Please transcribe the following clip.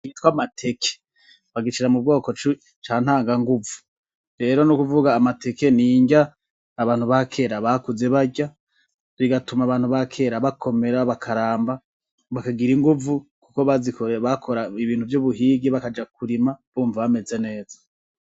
Ikintu cita amateke bagishira mu bwoko ca ntanganguvu. Rero n'ukuvuga amateke ni inrya abantu ba kera bakuze barya, bigatuma abantu ba kera bakomera, bakaramba, bakagira inguvu kuko bakora ibintu vy'ubuhigi bakaja kurima bumva bameze neza.